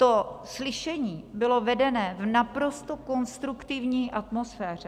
To slyšení bylo vedeno v naprosto konstruktivní atmosféře.